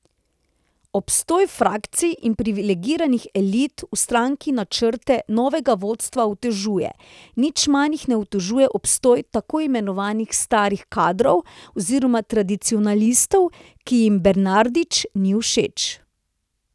Obstoj frakcij in privilegiranih elit v stranki načrte novega vodstva otežuje, nič manj jih ne otežuje obstoj tako imenovanih starih kadrov oziroma tradicionalistov, ki jim Bernardić ni všeč.